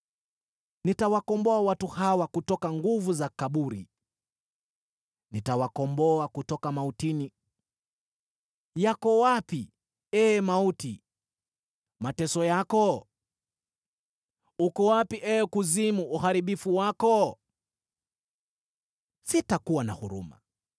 “Nitawakomboa watu hawa kutoka nguvu za kaburi, nitawakomboa kutoka mautini. Yako wapi, ee mauti, mateso yako? Uko wapi, ee kuzimu, uharibifu wako? “Sitakuwa na huruma,